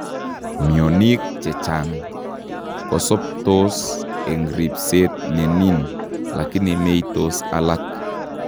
Mionik chechang' koosobtos eng ribseet nenin lakini meitos alak